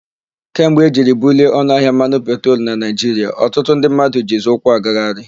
Kemgbe e jiri bulie ọnụahịa mmanụ petrolu na Naịjiria, ọtụtụ ndị mmadụ jizi ụkwụ agagharị.